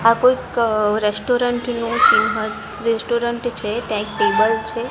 આ કોઇક રેસ્ટોરન્ટ નુ ચિન્હ રેસ્ટોરન્ટ છે ત્યાં એક ટેબલ છે.